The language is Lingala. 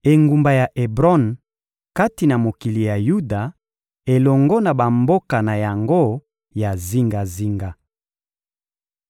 engumba ya Ebron, kati na mokili ya Yuda, elongo na bamboka na yango ya zingazinga.